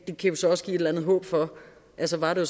det kan jo så også give et eller andet håb for så var det